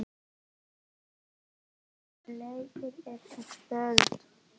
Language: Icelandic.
Tanya, hvaða leikir eru í kvöld?